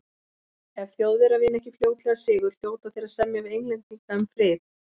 Ef Þjóðverjar vinna ekki fljótlega sigur, hljóta þeir að semja við Englendinga um frið.